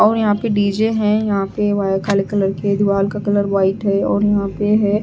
और यहां पे डी_जे हैं यहां पे वाई काले कलर के दीवाल का कलर व्हाइट है और यहां पे है।